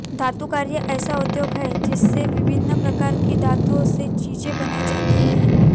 धातुकार्य ऐसा उद्योग है जिसमें विभिन्न प्रकार की धातुओं से चीज़ें बनाई जाती हैं